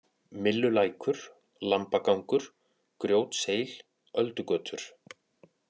Millulækur, Lambagangur, Grjótseil, Öldugötur